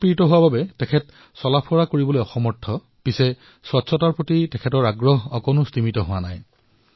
ৰাজপ্পনজীয়ে পেৰালাইছিছৰ ফলত চলাফুৰা কৰিবলৈ অসুবিধা পায় কিন্তু ইয়াৰ দ্বাৰা স্বচ্ছতাৰ প্ৰতি তেওঁৰ সমৰ্পণৰ ভাৱ কোনো ধৰণে কম হোৱা নাই